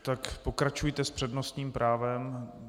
Tak pokračujte s přednostním právem.